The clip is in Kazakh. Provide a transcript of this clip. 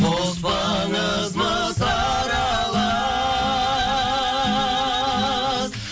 қоспаңыз мыс аралас